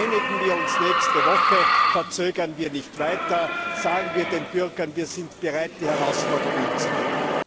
Einigen wir uns nächste Woche, verzögern wir nicht weiter, sagen wir den Bürgern, wir sind bereit und fähig die Herausforderung anzunehmen.